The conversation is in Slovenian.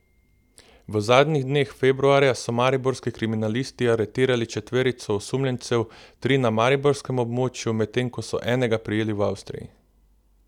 V zadnjih dneh februarja so mariborski kriminalisti aretirali četverico osumljencev, tri na mariborskem območju, medtem ko so enega prijeli v Avstriji.